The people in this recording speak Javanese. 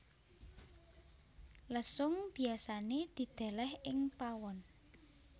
Lesung biasané didèlèh ing pawon